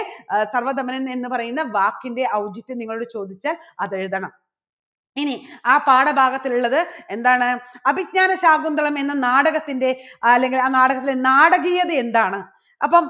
ആ സർവ്വധമനൻ എന്ന് പറയുന്ന വാക്കിൻറെ ഔചിത്യം നിങ്ങളോട് ചോദിച്ചാൽ അത് എഴുതണം. ഇനി ആ പാഠഭാഗത്തിൽ ഉള്ളത് എന്താണ് അഭിജ്ഞാന ശാകുന്തളം എന്ന നാടകത്തിൻറെ അല്ലെങ്കിൽ ആ നാടകത്തിലെ നാടകീയത എന്താണ് അപ്പം